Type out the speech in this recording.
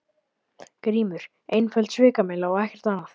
GRÍMUR: Einföld svikamylla og ekkert annað.